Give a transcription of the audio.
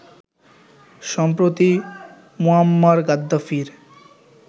সম্প্রতি মুয়াম্মার গাদ্দাফির